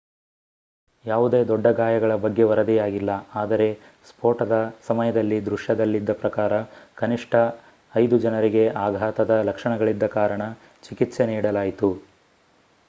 ಯಾವುದೇ ದೊಡ್ಡ ಗಾಯಗಳ ಬಗ್ಗೆ ವರದಿಯಾಗಿಲ್ಲ ಆದರೆ ಸ್ಫೋಟದ ಸಮಯದಲ್ಲಿ ದೃಶ್ಯದಲ್ಲಿದ್ದ ಪ್ರಕಾರ ಕನಿಷ್ಠ ಐದು ಜನರಿಗೆ ಆಘಾತದ ಲಕ್ಷಣಗಳಿದ್ದ ಕಾರಣ ಚಿಕಿತ್ಸೆ ನೀಡಲಾಯಿತು